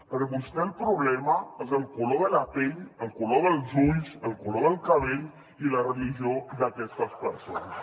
per vostè el problema és el color de la pell el color dels ulls el color del cabell i la religió d’aquestes persones